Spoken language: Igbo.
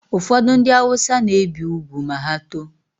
Ụfọdụ ndị awụsa na-ebi ugwu ma ha too